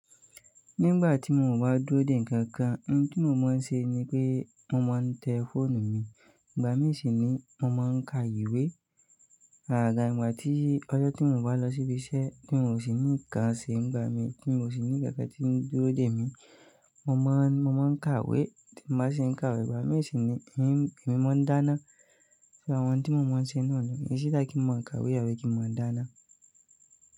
Nígbà tí mo bá n dúró dè nkankan, in tí mo máa ń ṣe ni pé mo máa ń tẹ fọ́ọ̀nù mi. Ìgbà mí sì ni mo máa ń ka ìwé. Àgaga ìgbà tí ọjọ́ tí mi o bá lọ síbi iṣẹ́ tí mio sì ní nǹkan ṣe nígbà mí tí mio sì ní nkankan tí ń dúró dè mí, mo máa, mo máa ń kàwé. Tè mi bá ṣi ń kàwé, ìgbà mí sì ni èmi, èmi máa ń dáná. Ṣé àwọn ohun tí mo máa ń ṣe náà ni, it's either kí n máa ń kàwé àbi kí n máa dáná.